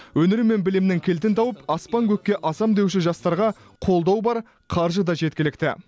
өнер мен білімнің кілтін тауып аспан көкке асам деуші жастарға қолдау бар қаржы да жеткілікті